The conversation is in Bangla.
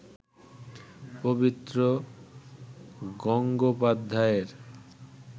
পবিত্র গঙ্গোপাধ্যায়ের